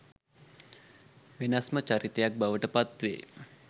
වෙනස්ම චරිතයක් බවට පත් වේ.